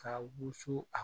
Ka wusu a